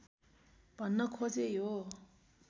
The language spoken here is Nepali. भन्न खोजेँ यो